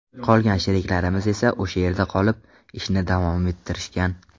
Qolgan sheriklarimiz esa o‘sha yerda qolib, ishni davom ettirishgan.